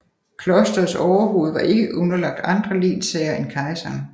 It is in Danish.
Klosterets overhoved var ikke underlagt andre lensherrer end kejseren